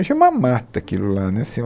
Achei uma mata aquilo lá né assim um